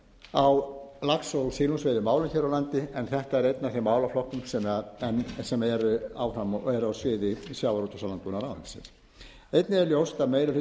á lax og silungsveiðimálum hér á landi en þetta er einn af þeim málaflokkum sem eru á sviði sjávarútvegs og landbúnaðarráðuneytisins einnig er ljóst að meiri hluti